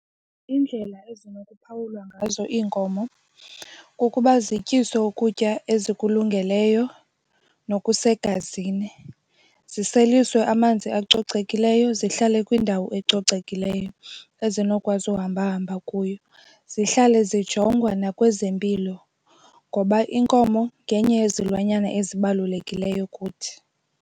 Iindlela ezinokuphawulwa ngazo iinkomo kukuba zityiswe ukutya ezikulungeleyo nokusa segazini, ziseliswe amanzi acocekileyo zihlale kwindawo ecocekileyo ezinokwazi uhamba ahamba kuyo. Zihlale zijongwa nakwezempilo ngoba iinkomo ngenye yezilwanyana ezibalulekileyo kuthi.